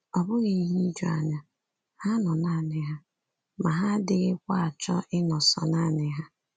Ọ bụghị ihe ijuanya, ha nọ nanị ha ma ha adịghịkwa achọ ịnọ sọ nanị ha.